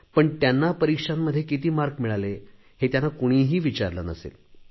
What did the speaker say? पण त्यांना परीक्षांमध्ये किती गुण मिळाले हे त्यांना कुणीही विचारले नसेल